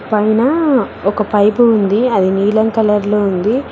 పైన ఒక పైపు ఉంది అది నీలం కలర్ లో ఉంది.